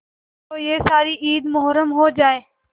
तो यह सारी ईद मुहर्रम हो जाए